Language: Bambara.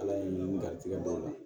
Ala ye ni garisigɛ dɔw la